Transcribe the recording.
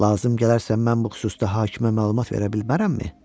Lazım gələrsə, mən bu xüsusda hakimə məlumat verə bilmərəmmi?